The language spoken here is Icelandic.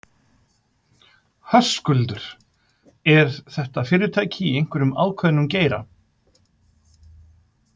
Höskuldur: Eru þetta fyrirtæki í einhverjum ákveðnum geira?